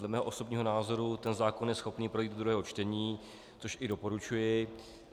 Dle mého osobního názoru ten zákon je schopen projít do druhého čtení, což i doporučuji.